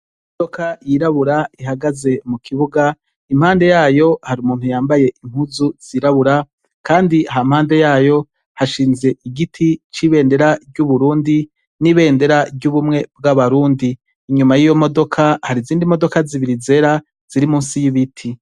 Imodoka yirabura ihagaze mu kibuga. Impande yayo hari umuntu yambaye impuzu zirabura; kandi hampande yayo hashinze igiti c'ibendera ry'Uburundi, n'ibendera ry'ubumwe bw'abarundi. Inyuma y'iyo modoka hari izindi modoka zibiri zera ziri munsi y'ibiti.